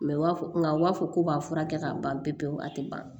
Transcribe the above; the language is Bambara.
Mɛ u b'a fɔ nka u b'a fɔ k'u b'a furakɛ ka ban pewu pewu a tɛ ban